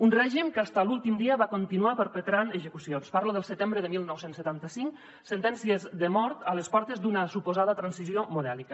un règim que fins a l’últim dia va continuar perpetrant execucions parlo del setembre de dinou setanta cinc sentències de mort a les portes d’una suposada transició modèlica